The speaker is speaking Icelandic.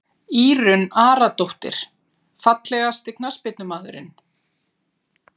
Írunn Aradóttir Fallegasti knattspyrnumaðurinn?